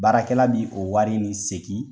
Baarakɛla bi o wari nin sekin